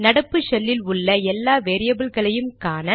நடப்பு ஷெல்லில் உள்ள எல்லா வேரியபில்களையும் காண